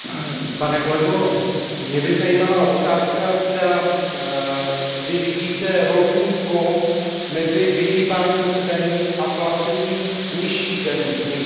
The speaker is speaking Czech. Mě by zajímala otázka, zda vy vidíte rovnítko mezi vyhýbáním se daním a placením nižších daní v některých členských státech?